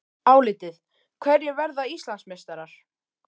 Álitið: Hverjir verða Íslandsmeistarar?